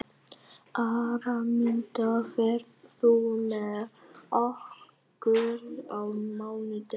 Araminta, ferð þú með okkur á mánudaginn?